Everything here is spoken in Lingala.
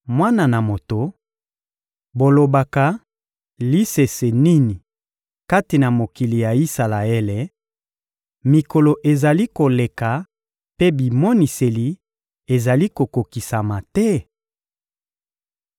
«Mwana na moto, bolobaka lisese nini kati na mokili ya Isalaele: ‹Mikolo ezali koleka mpe bimoniseli ezali kokokisama te?›